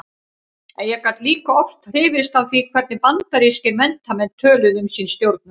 Ég gat líka oft hrifist af því hvernig bandarískir menntamenn töluðu um sín stjórnvöld.